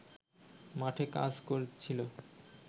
মাঠে কাজ করছিল